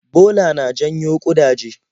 Bola na janyo ƙudaje.